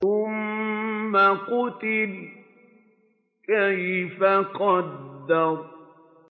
ثُمَّ قُتِلَ كَيْفَ قَدَّرَ